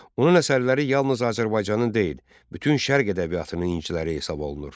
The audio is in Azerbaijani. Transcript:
Onun əsərləri yalnız Azərbaycanın deyil, bütün Şərq ədəbiyyatının inciləri hesab olunur.